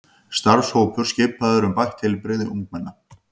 Starfshópur skipaður um bætt heilbrigði ungmenna